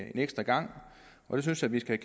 en ekstra gang og det synes jeg vi skal